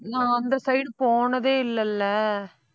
நான் அந்த side போனதே இல்லைல்லை.